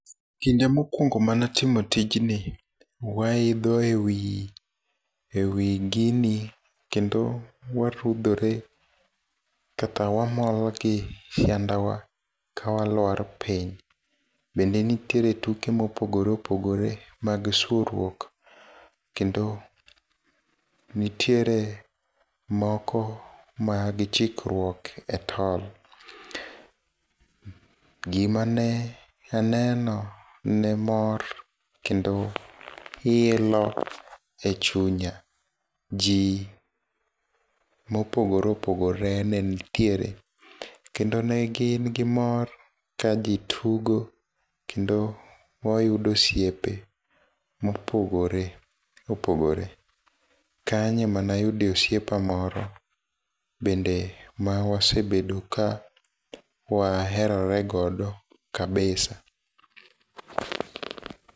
Kinde mokwongo manatimo tijni, waidho ewii ewii gini, kendo warudhore kata wamol gi siandawa ka walwar piny, bende nitiere tuke mopogore opogore mag sworuok kendo nitiere moko mag chikruok e tol, gimane aneno, ne mor kendo ilo e chunya. Jii mopogore opogore ne nitiere kendo ne gin gi mor ka jii tugo kendo wayudo osiepe mopogore opogore, kanyo ema ne ayude osiepa moro bende ma wasebedo ka waherorego kabisa.